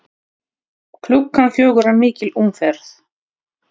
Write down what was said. Klukkan fjögur er mikil umferð.